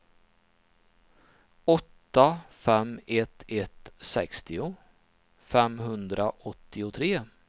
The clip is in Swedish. åtta fem ett ett sextio femhundraåttiotre